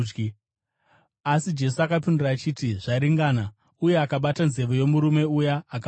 Asi Jesu akapindura achiti, “Zvaringana!” Uye akabata nzeve yomurume uya akamuporesa.